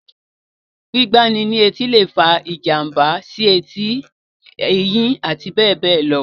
Gbígbá ni létí lè fa ìjàmbá sí etí, eyín, abbl.